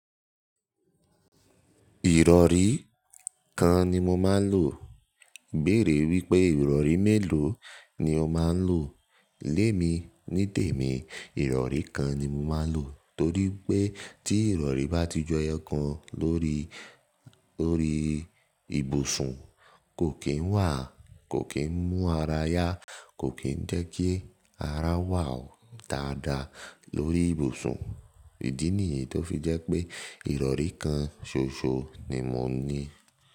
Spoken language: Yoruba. Ìrọ̀rí kan ni mo máa ń lò. Bẹ̀rẹ̀ wípé ìrọ̀rí mélòó ni o máa ń lò? Lémi, ní tèmi ìrọ̀rí kan ni mo máa ń lò torí pé tí ìrọ̀rí bá ti ju eyokan lórí, lórí ibùsùn kò kín wà, kò kín mú ara yá, kò kín jẹ́ kí ara wà ó dáadáa lórí ibùsùn. Idi niyí tó fi jẹ́ pé ìrọ̀rí kan ṣoṣo ni mo ní.